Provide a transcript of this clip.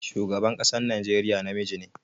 Shugaban ƙasar Najeriya namiji ne